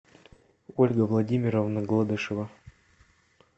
ольга владимировна гладышева